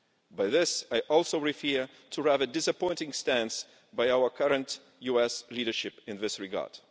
By this, I also refer to the rather disappointing stance by our current US leadership in this regard.